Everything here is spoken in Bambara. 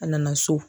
A nana so